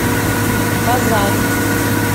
казань